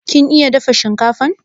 kin iya dafa shinkafan?